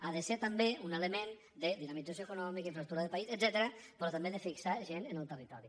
ha de ser també un element de dinamització econòmica infraestructura de país etcètera però també de fixar gent en el territori